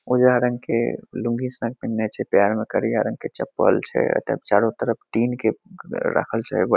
उजला रंग के लूंगी शर्ट पेन्हले छे पैर में करिया रंग के चप्पल छे अ तब चारो तरफ टिन के रखल छे ब --